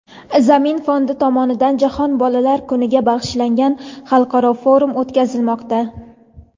"Zamin" fondi tomonidan Jahon bolalar kuniga bag‘ishlangan xalqaro forum o‘tkazilmoqda.